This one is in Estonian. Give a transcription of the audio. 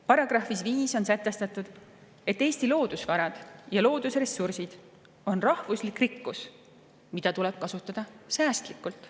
Paragrahvis 5 on sätestatud, et Eesti loodusvarad ja loodusressursid on rahvuslik rikkus, mida tuleb kasutada säästlikult.